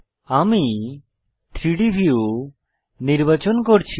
আমি 3ডি ভিউ নির্বাচন করছি